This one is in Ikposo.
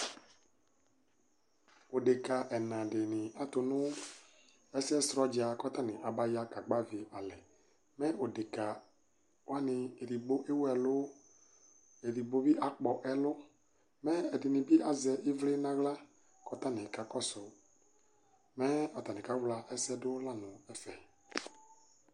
odeka ɛna dɩnɩ atʊ ɛsɛ sʊ dza kʊ atanɩ aba ya kagbavi alɛ, mɛ odekawanɩ edigbo ɛwu ɛlʊ, edigbo bɩ akpɔ ɛlʊ, ɛdɩnɩ bɩ azɛ ɩvli nʊ aɣla, kʊ atanɩ kakɔsʊ, mɛ atanɩ kawla ɛsɛ dʊ la nʊ ɛfɛ